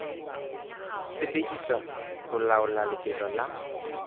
sebediswa ho laola lebelo la